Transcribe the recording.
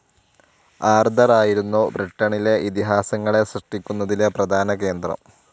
ആർതറായിരുന്നു ബ്രിട്ടണിലെ ഇതിഹാസങ്ങളെ സൃഷ്ട്ടിക്കുന്നതിലെ പ്രധാന കേന്ദ്രം.